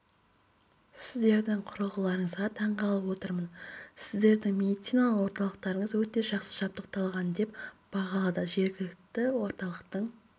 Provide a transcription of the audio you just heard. сіздердің құрылғыларыңызға таң қалып отырмын сіздердің медициналық орталықтарыңыз өте жақсы жабдықталған деп бағалады жергілікті орталықтың